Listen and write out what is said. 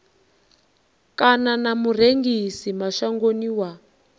kana na murengisi mashangoni wa